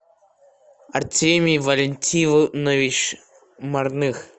артемий валентинович марных